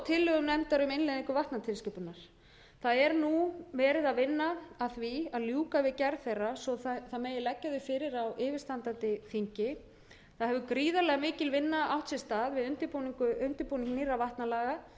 tillögum nefndar um innleiðingu vatnatilskipunar það er nú verið að vinna að því að ljúka við gerð þeirra svo það megi leggja þau fyrir á yfirstandandi þingi það hefur gríðarlega mikil vinna átt sér stað við undirbúning nýrra vatnalaga